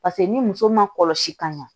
Paseke ni muso ma kɔlɔsi ka ɲɛ